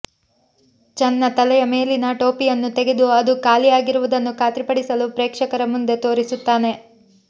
ಚನ್ನ ತಲೆಯ ಮೇಲಿನ ಟೋಪಿಯನ್ನು ತೆಗೆದು ಅದು ಖಾಲಿ ಆಗಿರುವುದನ್ನು ಖಾತ್ರಿ ಪಡಿಸಲು ಪ್ರೇಕ್ಷಕರ ಮುಂದೆ ತೋರಿಸುತ್ತಾನೆ